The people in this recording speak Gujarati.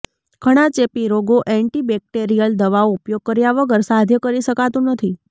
ઘણા ચેપી રોગો એન્ટીબેક્ટેરિયલ દવાઓ ઉપયોગ કર્યા વગર સાધ્ય કરી શકાતું નથી